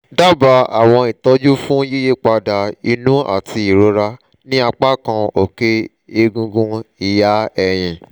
daba awọn itọju fun yiyipada inu ati irora ni apakan oke egungun iha ẹhin